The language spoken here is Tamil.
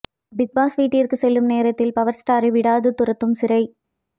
பிக் பாஸ் வீட்டிற்கு செல்லும் நேரத்தில் பவர் ஸ்டாரை விடாது துரத்தும் சிறை